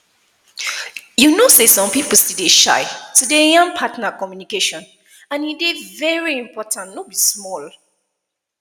you know say some people still dey shy to dey yan partner communication and e dey very important no be small